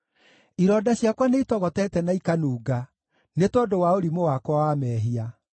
Ironda ciakwa nĩitogotete na ikanunga nĩ tondũ wa ũrimũ wakwa wa mehia.